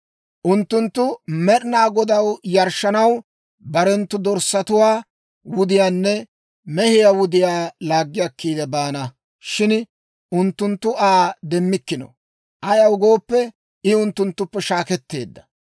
Unttunttu Med'inaa Godaw yarshshanaw barenttu dorssatuwaa wudiyaanne mehiyaa wudiyaa laaggi akkiide baana; shin unttunttu Aa demmikkino. Ayaw gooppe, I unttunttuppe shaakketteedda.